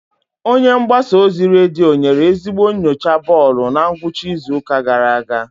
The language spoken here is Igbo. Onye mgbasa ozi redio nyere ezigbo nyocha bọọlụ na ngwụcha izu ụka gara aga.